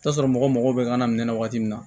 I bi t'a sɔrɔ mɔgɔw mago bɛ kan na min na waati min na